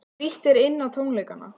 Frítt er inn á tónleikana